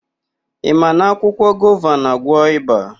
Ị ma na akwụkwọ gova na-àgwọ́ ịba?